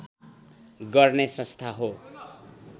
गर्ने संस्था हो